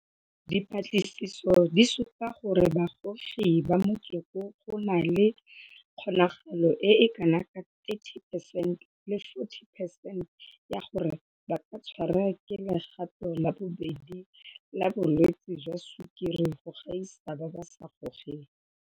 Dipatlisiso di supa gore bagogi ba motsoko go na le kgonagalo e e kana ka 30 percent le 40 percent ya gore ba ka tshwarwa ke legato la bobedi la bo lwetse jwa sukiri go gaisa ba ba sa gogeng.